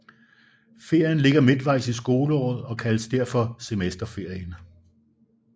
Ferien ligger midtvejs i skoleåret og kaldes derfor Semesterferien